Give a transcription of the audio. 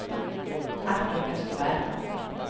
Artur Österberg